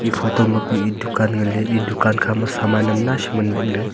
photo ma kue e dukan nganley e dukan khama saman uam nai sham ngan bakley.